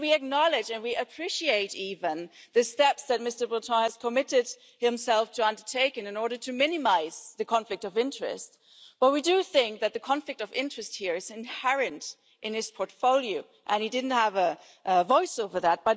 We acknowledge and we appreciate even the steps that Mr Breton has committed himself to undertaking in order to minimise the conflict of interest, but we do think that the conflict of interest here is inherent in his portfolio, and he didn't have a voice over that.